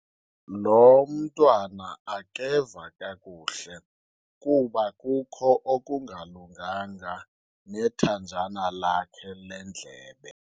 Lo mntwana akeva kakuhle kuba kukho okungalunganga nethanjana lakhe lendlebe.